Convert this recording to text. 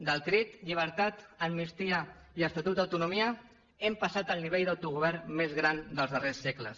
del crit llibertat amnistia i estatut d’autonomia hem passat al nivell d’autogovern més gran dels darrers segles